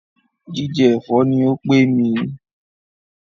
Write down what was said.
Jíjẹ ẹ̀fọ́ ní o pé mí.